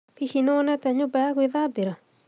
Hihi nĩ wonete nyũmba ya gwĩthambĩra?